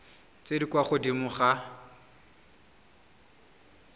tse di kwa godimo ga